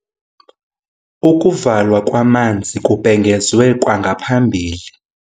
Ukuvalwa kwamanzi kubhengezwe kwangaphambili.